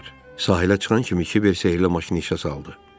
Sahilə çıxan kimi Kiver sehirlə maşını işə saldı.